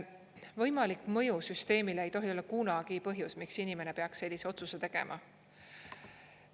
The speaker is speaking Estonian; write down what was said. Võimalik mõju süsteemile ei tohi olla kunagi põhjus, miks inimene peaks sellise otsuse tegema.